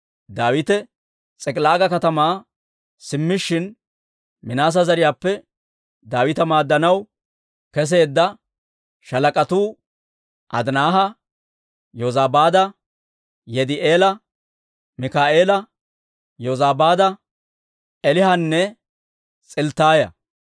Daawite S'ik'ilaaga katamaa simmishin, Minaase zariyaappe Daawita maaddanaw keseedda shaalak'atuu Adinaaha, Yozabaada, Yidi'eela, Mikaa'eela, Yozabaada, Eelihunne s'ilttaaya.